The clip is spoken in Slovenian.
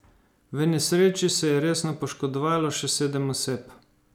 V nesreči se je resno poškodovalo še sedem oseb.